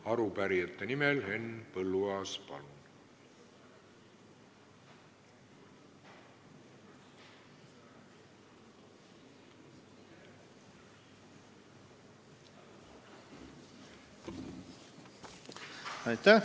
Arupärijate nimel Henn Põlluaas, palun!